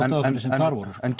en